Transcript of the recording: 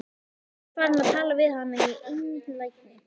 Hann er farinn að tala við hana í einlægni!